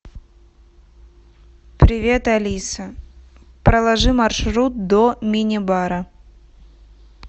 привет алиса проложи маршрут до мини бара